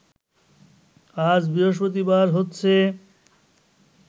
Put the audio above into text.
আজ বৃহস্পতিবার হচ্ছে